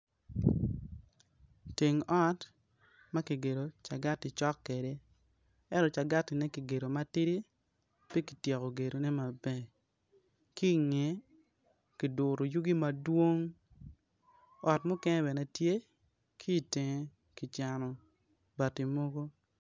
Teng ot ma kigedo cagati cok kwede ento cagatine kicweyo ma tidi pe kityeko gedone maber. Ki i ngeye kiguro yugi mo madwong ka mukene bene tye ki i teng kicano bati mogo.